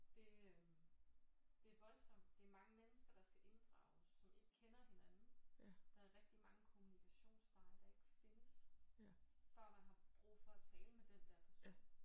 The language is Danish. Det det er voldsomt det er mange mennesker der skal inddrages som ikke kender hinanden der er rigtig mange kommunikationsveje der ikke findes før man har brug for at tale med den der person